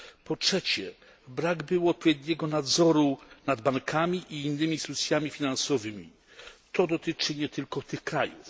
Po trzecie, brak było odpowiedniego nadzoru nad bankami i innymi instytucjami finansowymi to dotyczy nie tylko tych krajów.